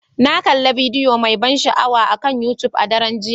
Na kalli bidiyo mai ban sha'awa akan YouTube a daren jiya.